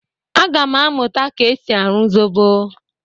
Aga m amụta ka e si arụ zobo.